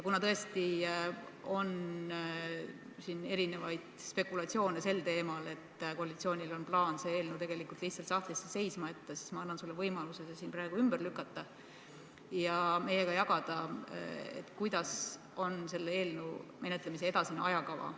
Kuna tõesti on erinevaid spekulatsioone sel teemal, et koalitsioonil on plaan see eelnõu tegelikult lihtsalt sahtlisse seisma jätta, siis ma annan sulle võimaluse need siin praegu ümber lükata ja meiega jagada, milline on selle eelnõu menetlemise edasine ajakava.